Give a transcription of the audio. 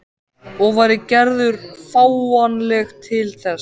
Og væri Gerður fáanleg til þess?